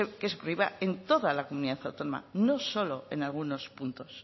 se prohíba en toda la comunidad autónoma no solo en algunos puntos